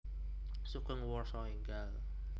Sugeng Warsa Enggal